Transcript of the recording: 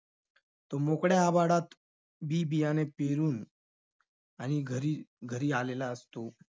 तो मोकळ्या आभाळात बी-बियाणे पेरून आणि घरी~ घरी आलेला असतो.